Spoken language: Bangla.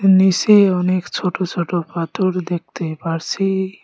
নীসে অনেক ছোট ছোট পাথর দেখতে পারসি।